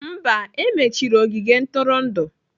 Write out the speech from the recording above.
Mba, e mechiri ogige ntụrụndụ.